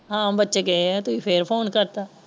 ਹਾਂ ਬੱਚੇ ਗਏ ਹੈ ਤੁਸੀ ਫੇਰ ਫੋਨ ਕਰਤਾ।